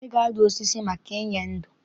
Ị ga-adụ osisi maka inye ndo!